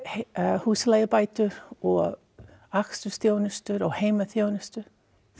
húsaleigubætur og akstursþjónustu og heimaþjónustu þau